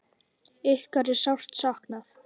Ykkar er sárt saknað.